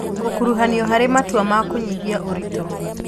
Gũkuruhanio harĩ matua ma kũnyihia ũritũ